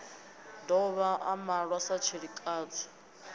dovha a malwa sa tshilikadzi